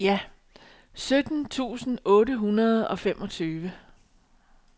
sytten tusind otte hundrede og femogtyve